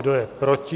Kdo je proti?